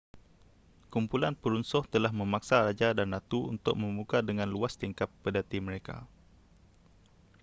kumpulan perusuh telah memaksa raja dan ratu untuk membuka dengan luas tingkap pedati mereka